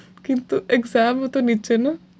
কিন্তু exam ও তো নিচ্ছে না।